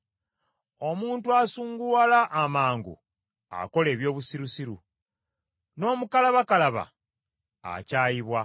Omuntu asunguwala amangu akola eby’obusirusiru, n’omukalabakalaba akyayibwa.